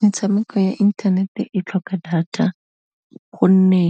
Metshameko ya internet-e e tlhoka data gonne,